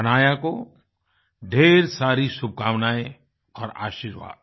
हनाया को ढ़ेर सारी शुभकामनाएँ और आशीर्वाद